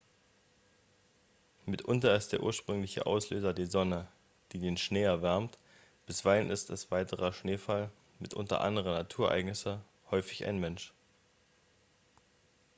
mitunter ist der ursprüngliche auslöser die sonne die den schnee erwärmt bisweilen ist es weiterer schneefall mitunter andere naturereignisse häufig ein mensch